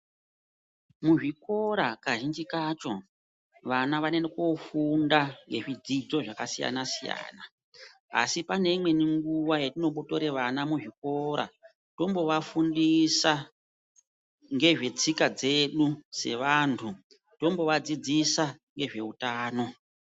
Muzvikora, kazhinji kacho, vana vanoenda kofunda ngezvidzidzo zvakasiyana siyana. Asi paneimweni nguwa yatinombore vana muzvikora tombovafundisa zvetsika dzedu sevanhu, tombovadzidzisa ngezveutano.